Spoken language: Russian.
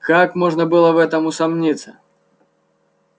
как можно было в этом усомниться